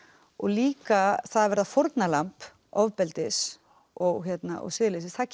og líka það að verða fórnarlamb ofbeldis og siðleysis það